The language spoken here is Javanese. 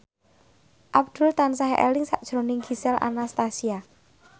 Abdul tansah eling sakjroning Gisel Anastasia